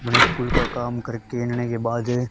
मैं स्कूल का काम करके आने के बाद--